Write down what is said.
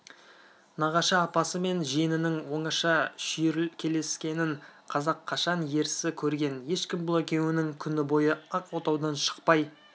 нағашы апасы мен жиенінің оңаша шүйіркелескенін қазақ қашан ерсі көрген ешкім бұл екеуінің күні бойы ақ отаудан шықпай